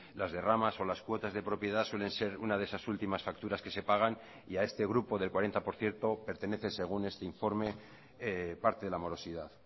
las derramas o las cuotas de propiedad suelen ser una de esas últimas facturas que se pagan y a este grupo del cuarenta por ciento pertenece según este informe parte de la morosidad